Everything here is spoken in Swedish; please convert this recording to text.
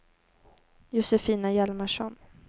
Josefina Hjalmarsson